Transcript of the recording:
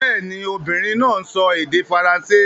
Bẹ́ẹ̀ ni, obìnrin náà ń sọ èdè Faransé